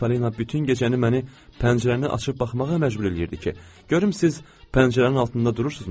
Miss Polina bütün gecəni məni pəncərəni açıb baxmağa məcbur eləyirdi ki, görüm siz pəncərənin altında durursunuzmu?